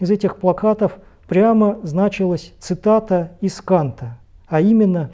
из этих плакатов прямо значилось цитата из канта а именно